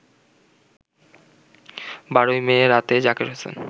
১২ May রাতে জাকের হোসেন